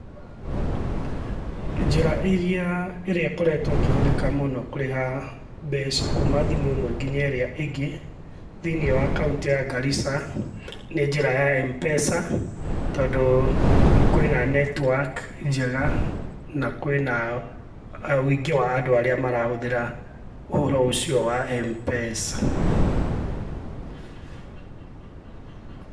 Njĩra ĩrĩa ikoretwo ĩkĩhũthĩka mũno kũrĩha mbeca kuma thimũ ĩmwe nginya ĩrĩa ĩngĩ ,thiiniĩ wa kaũnti ya Garissa nĩ njĩra ya M-Pesa, tondũ kũu kwĩna netiwaki njega, na kwĩna wingi wa andũ arĩa marahũthĩra ũhoro ũcio wa M-Pesa.